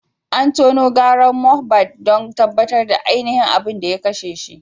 An tono gawar Mohbad don tabbatar da ainihin abin da ya kashe shi.